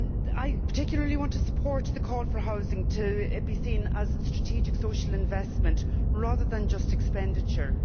I particularly want to support the calls for housing to be seen as a strategic social investment, rather than just expenditure.